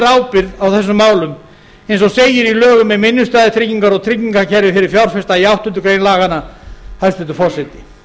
ábyrgð á þessum málum eins og segir í lögum um innstæðutryggingar og tryggingakerfi fyrir fjárfesta í áttundu grein laganna hæstvirtur forseti